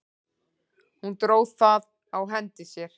Hún dró það á hendi sér.